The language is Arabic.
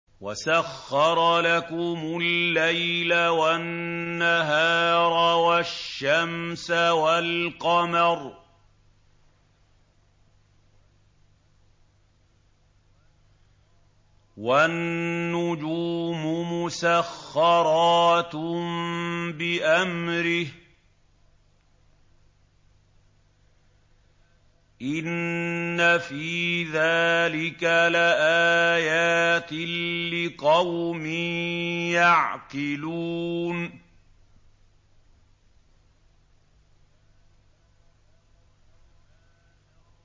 وَسَخَّرَ لَكُمُ اللَّيْلَ وَالنَّهَارَ وَالشَّمْسَ وَالْقَمَرَ ۖ وَالنُّجُومُ مُسَخَّرَاتٌ بِأَمْرِهِ ۗ إِنَّ فِي ذَٰلِكَ لَآيَاتٍ لِّقَوْمٍ يَعْقِلُونَ